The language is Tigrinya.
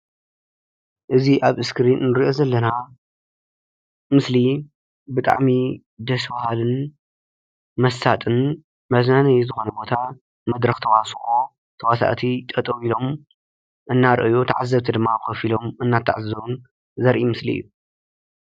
እዚ አብ እስክሪን እንሪኦ ዘለና ምስሊ ብጣዕሚ ደስ በሃሊን መሳጢ መዝናነይ ዝኮነ ቦታ መድረክ ተዋስኦ ተዋስአቲ ጠጠው ኢሎም እናረአዩ ተዓዘብቲ ድማ ኮፍ ኢሎም እናተዓዘቡ ዘርኢ ምስሊ እዩ፡፡